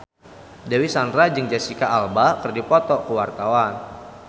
Dewi Sandra jeung Jesicca Alba keur dipoto ku wartawan